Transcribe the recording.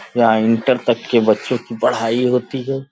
यहाँ इण्टर तक के बच्चों की पढ़ाई होती है।